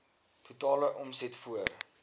totale omset voor